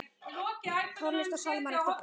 Tónlist og sálmar eftir konur.